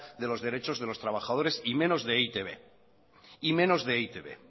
de los derechos de los trabajadores y menos de e i te be